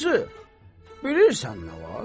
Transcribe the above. Bacı, bilirsən nə var?